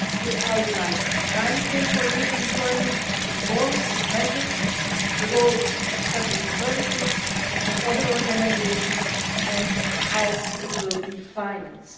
They outline the timeframe for youth employment reforms and measures, the roles of public authorities and other organisations and how the measures will be financed.